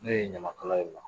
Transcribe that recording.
Ne ye ɲamakala y'o la